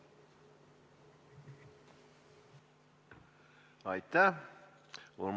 Aitäh!